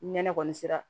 Ni nɛnɛ kɔni sera